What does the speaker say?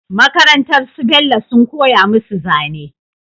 Makarantar su bello sun koya musu zane